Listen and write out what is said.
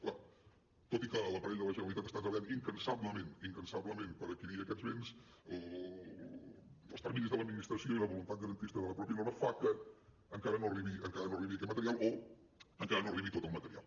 clar tot i que l’aparell de la generalitat està treballant incansablement incansablement per adquirir aquests béns els terminis de l’administració i la voluntat garantista de la mateixa norma fan que encara no arribi aquest material o encara no arribi tot el material